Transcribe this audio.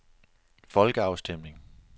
folkeafstemning